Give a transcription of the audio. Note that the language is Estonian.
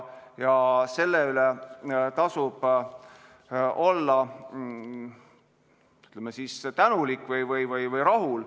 Ja selle eest tasub olla, ütleme siis, tänulik, tasub olla rahul.